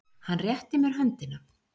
Hann rétti mér höndina.